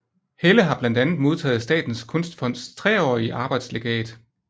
Helle har blandt andet modtaget Statens Kunstfonds treårige arbejdslegat